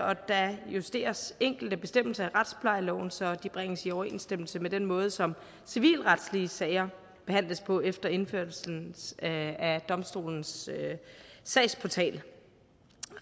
og der justeres enkelte bestemmelser i retsplejeloven så de bringes i overensstemmelse med den måde som civilretlige sager behandles på efter indførelsen af domstolens sagsportal